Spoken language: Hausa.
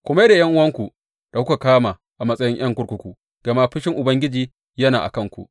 Ku mai da ’yan’uwanku da kuka kama a matsayin ’yan kurkuku, gama fushin Ubangiji yana a kanku.